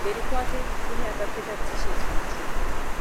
mberi kwake kune akapfeka tisheti itsvuku.